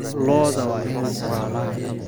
Lo'da waa in la tallaalaa.